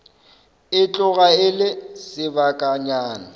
e tloga e le sebakanyana